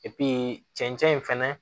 cɛncɛn in fɛnɛ